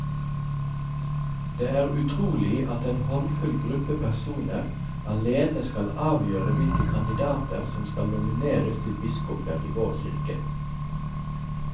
Det er utrolig at en håndfull gruppe personer alene skal avgjøre hvilke kandidater som skal nomineres til biskoper i vår kirke.